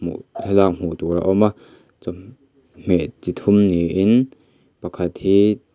hmuh thlalak hmuh tur a awm a chaw hmeh chi thum niin pakhat hi--